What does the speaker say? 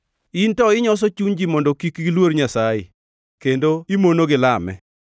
In to inyoso chuny ji mondo kik giluor Nyasaye kendo imonogi lame.